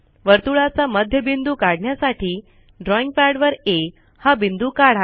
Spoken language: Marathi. वर्तुळाचा मध्यबिंदू काढण्यासाठी ड्रॉईंगपॅडवर आ हा बिंदू काढा